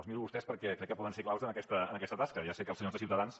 els miro a vostès perquè crec que poden ser claus en aquesta tasca ja sé que els senyors de ciutadans